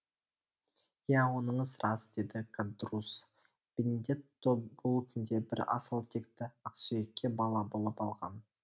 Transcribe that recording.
иә оныңыз рас деді кадрусс бенедетто бұл күнде бір асыл текті ақсүйекке бала болып алған